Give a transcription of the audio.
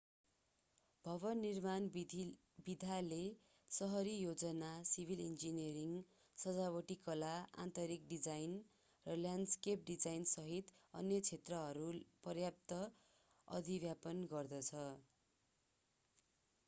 भवन निर्माण विधाले सहरी योजना सिभिल इन्जिनियरिङ सजावटी कला आन्तरिक डिजाइन र ल्याण्डस्केप डिजाइनसहित अन्य क्षेत्रहरू पर्याप्त अधिव्यापन गर्दछ